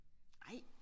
Ej